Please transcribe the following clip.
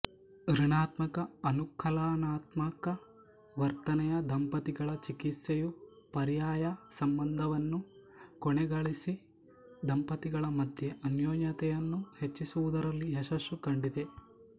ಋಣಾತ್ಮಕಅನುಕಲನಾತ್ಮಕ ವರ್ತನೆಯ ದಂಪತಿಗಳ ಚಿಕಿತ್ಸೆಯು ಪರ್ಯಾಯಸಂಬಂಧವನ್ನು ಕೊನೆಗೊಳಿಸಿ ದಂಪತಿಗಳ ಮಧ್ಯೆ ಅನ್ಯೋನ್ಯತೆಯನ್ನು ಹೆಚ್ಚಿಸುವುದರಲ್ಲಿ ಯಶಸ್ಸನ್ನು ಕಂಡಿದೆ